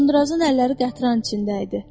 Uzundrazın əlləri qətran içində idi.